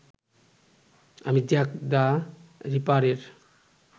আমি Jack the রিপারের